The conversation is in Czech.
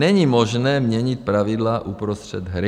Není možné měnit pravidla uprostřed hry.